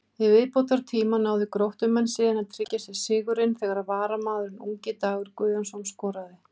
Í viðbótartíma náðu Gróttumenn síðan að tryggja sér sigurinn þegar varamaðurinn ungi Dagur Guðjónsson skoraði.